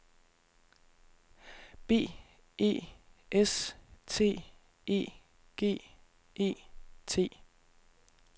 B E S T E G E T